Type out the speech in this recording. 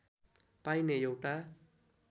पाइने एउटा